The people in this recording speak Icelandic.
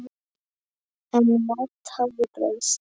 En margt hafði breyst.